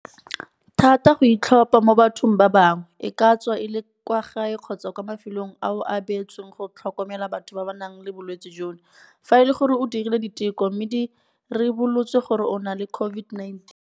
thata go itlhopha mo bathong ba bangwe, e ka tswa e le kwa gae kgotsa kwa mafelong ao a beetsweng go tlhokomela batho ba ba nang le bolwetse jono, fa e le gore o dirile diteko mme di ribolotse gore o na le COVID-19.